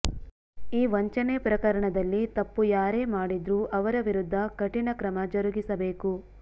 ಈ ವಂಚನೆ ಪ್ರಕರಣದಲ್ಲಿ ತಪ್ಪು ಯಾರೇ ಮಾಡಿದ್ರೂ ಅವರ ವಿರುದ್ಧ ಕಠಿಣ ಕ್ರಮ ಜರುಗಿಸಬೇಕು